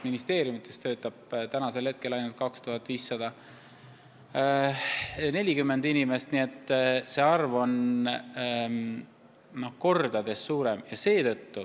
Ministeeriumides töötab ainult 2540 inimest, kordades vähem.